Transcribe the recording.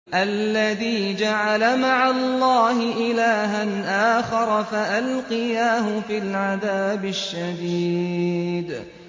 الَّذِي جَعَلَ مَعَ اللَّهِ إِلَٰهًا آخَرَ فَأَلْقِيَاهُ فِي الْعَذَابِ الشَّدِيدِ